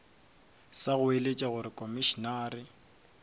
sa go goeletša gore komišenare